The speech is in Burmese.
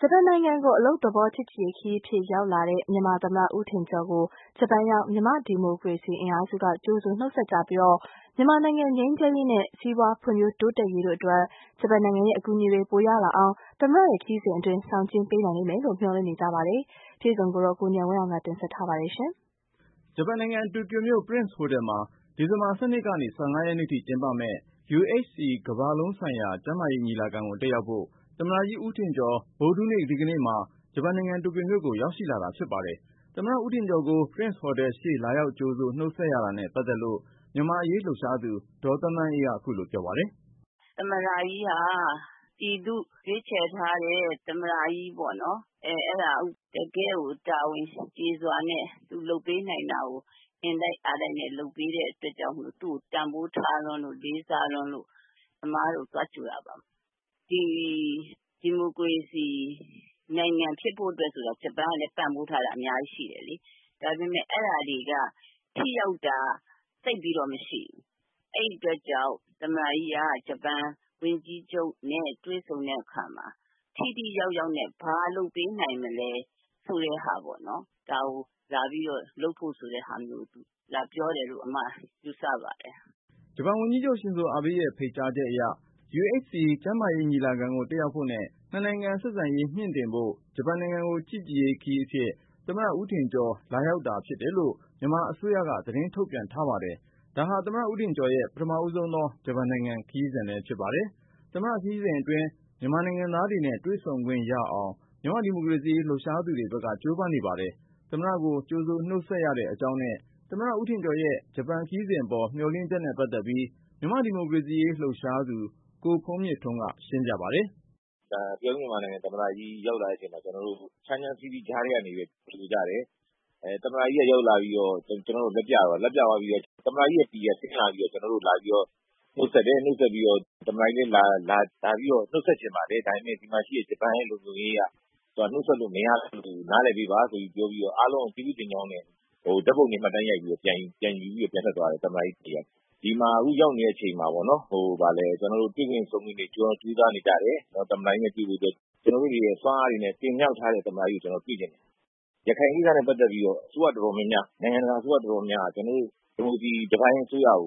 ဂျပန်နိုင်ငံကို အလုပ်သဘော ချစ်ကြည်ရေးခရီးအဖြစ် ရောက်လာတဲ့ မြန်မာသမ္မတ ဦးထင်ကျော်ကို ဂျပန်ရောက် မြန်မာ့ဒီမိုကရေစီ အင်အားစုက ကြိုဆိုနှုတ်ဆက်ကြပြီး၊ မြန်မာနိုင်ငံငြိမ်းချမ်းရေးနဲ့ စီးပွား ဖွံ့ဖြိုးတိုးတက်ရေးတို့အတွက် ဂျပန်နိုင်ငံရဲ့ အကူအညီတွေ ပိုရ လာအောင် သမ္မတရဲ့ခရီးစဉ်အတွင်း ဆောင်ကျည်းပေးနိုင် လိမ့်မယ်လို့ မျှော်လင့်နေကြပါတယ်။ အကြောင်းစုံကို ကိုဉာဏ်ဝင်းအောင်က တင်ပြပါမယ်။ ဂျပန်နိုင်ငံ တိုကျိုမြို့ Prince Hotel မှာ ဒီဇင်ဘာ ၁၂ ကနေ ၁၅ ရက်နေ့ထိကျင်းပမယ့် UHC ကမ္ဘာလုံးဆိုင်ရာ ကျန်းမာရေး ညီလာခံကို တက်ရောက်ဖို့ သမ္မတကြီး ဦးထင်ကျော် ဗုဒ္ဓဟူးဒီကနေ့မှာ ဂျပန်နိုင်ငံ တိုကျိုမြို့ကို ရောက်ရှိလာတာ ဖြစ်ပါတယ်။ သမ္မတ ဦးထင်ကျော်ကို Prince Hotel ရှေ့လာရောက် ကြိုဆို နှုတ်ဆက်ရတာနဲ့ ပတ်သက်လို့ မြန်မာ့အရေးလှုပ်ရှားသူ ဒေါ်သန်းသန်းအေးက ခုလိုပြောပါတယ်။ “သမ္မတကြီးက ပြည်သူရွေးချယ်ထားတဲ့ သမ္မတကြီးပေါ့နော် တကယ့်ကို တာဝန်ကျေစွာနဲ့ သူလုပ်ပေးနိုင်တာကို အင်တိုက်အားတိုက်နဲ့ လုပ်ပေးတဲ့အတွက်ကြောင့် သူ့ကို တန်ဖိုးထားလွန်းလို့ လေးစားလွန်းလို့ အမတို့ သွားကြိုတာပါ။ ဒီမိုကရေစီနိုင်ငံဖြစ်ဖို့အတွက်ဆိုတာ ဂျပန်ကလည်း ပံ့ပိုးထားတာ အများကြီးရှိတယ်လေ။ ဒါပေမယ့် အဲဒါတွေက ထိရောက်တာ သိပ်ပြီးတော့ မရှိဘူး။ အဲဒီအတွက်ကြောင့် သမ္မတကြီးက ဂျပန် ဝန်ကြီးချုပ်နဲ့ တွေ့ဆုံတဲ့အခါမှာ ထိထိရောက်ရောက်နဲ့ ဘာလုပ်ပေးနိုင်မလဲဆိုတာကို ဒါကိုလုပ်ဖို့ဆိုပြီးတော့ လာပြောတယ်လို့ ယူဆပါတယ်။” ဂျပန်ဝန်ကြီးချုပ် ရှင်ဇိုအာဘေးရဲ့ ဖိတ်ကြားချက်အရ UHC ကျန်းမာရေး ညီလာခံကို တက်ရောက်ဖို့နဲ့ နှစ်နိုင်ငံ ဆက်ဆံရေး မြှင့်တင်ဖို့ ဂျပန် နိုင်ငံကို တရားဝင် ချစ်ကြည်ရေးခရီးအဖြစ် သမ္မတ ဦးထင်ကျော် လာရောက်တာဖြစ်တယ်လို့ မြန်မာအစိုးရက သတင်း ထုတ်ပြန်ထားပါတယ်။ ဒါဟာ သမ္မတ ဦးထင်ကျော်ရဲ့ ပထမဦးဆုံးသော ဂျပန်နိုင်ငံ ခရီးစဉ်လည်း ဖြစ်ပါတယ်။ သမ္မတခရီးစဉ်အတွင်း မြန်မာနိုင်ငံသားတွေ့နဲ့ တွေ့ဆုံခွင့်ရအောင် မြန်မာ့ဒီမိုကရေစီရေး လှုပ်ရှားသူတွေဘက်က ကြိုးပမ်းနေပါတယ်။ သမ္မတကို ကြိုဆိုနှုတ်ဆက်ရတဲ့အကြောင်းနဲ့ သမ္မတ ဦးထင်ကျော်ရဲ့ ဂျပန်ခရီးစဉ်ပေါ် မျှော်လင့်ချက်နဲ့ပတ်သက်ပြီး မြန်မာ့ဒီမိုကရေစီရေး လှုပ်ရှားသူ ကိုဖုန်းမြင့်ထွန်းက ရှင်းပြပါတယ်။ “ကျနေ်ာတို့ မြန်မာနိုင်ငံ သံမ္မတကြီးရောက်လာတဲ့အချိန်မှာ ကျနော်တို့ ချမ်းချမ်းစီးစီးကြားထဲက ကြိုဆိုကြတယ်။ သံမ္မတကြီးရောက်လာပြီးတော့ လက်ပြသွားပြီးတော့ သူ့ PA ကဆင်းလာပြီးတော့ ကျနော့်ကို နှုတ်ဆက်တယ်။ သမ္မတကြီးလည်း နှုတ်ဆက် ချင်ပါတယ် ဒါပေမယ့် ဂျပန်ရဲ့ လုံခြုံရေးအရ နှုတ်ဆက်လို့ မရလို့ နားလည်ပေးပါဆိုပြီးတော့ပြောပြီးတော့ အားလုံးကို ကျေးဇူးတင်ကြောင်းနဲ့ အားလုံးကို ဓါတ်ပုံမှတ်တမ်းယူပြီးတော့ ပြန်ထွက်သွားတယ်။ ဒီမှာ အခုရောက်နေတဲ့အချိန်မှာပေါ့နော် ကျနော်တို့ တွေ့ဆုံခွင့်တွေရဖို့ အကုန်လုံး ကြိုးစားနေကြတယ် သမ္မတကြီးနဲ့ တွေ့ဖို့အတွက် ။ ကျနော်တို့တွေရဲ့ စွမ်းအားတွေနဲ့ တင်မြောက်ထားတဲ့ သမ္မတကြီးကို ကျနော်တို့တွေ့ချင်တယ်။ ရခိုင်ကိစ္စနဲ့ ပတ်သက်ပြီးတော့ နိုင်ငံတကာအစိုးရတော်တော်များများက ကျနော်တို့ ဒီမိုကရေစီ တပိုင်းအစိုးရကို